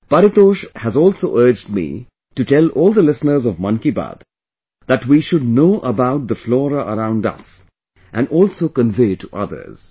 Paritosh has also urged me to tell all the listeners of Mann Ki Baat that we should know about the flora around us, and also convey to others